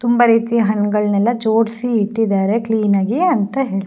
ತುಂಬಾ ರೀತಿಯ ಹಣ್ಣುಗಳನ್ನೆಲ್ಲ ಜೋಡಿಸಿ ಇಟ್ಟಿದ್ದಾರೆ ಕ್ಲೀನ್ ಆಗಿ ಅಂತ ಹೇಳ --